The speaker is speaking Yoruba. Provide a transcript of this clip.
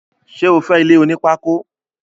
Sé o fé ilé oní pákó?